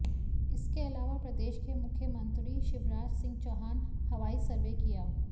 इसके अलावा प्रदेश के मुख्यमंत्री शिवराज सिंह चौहान हवाई सर्वे किया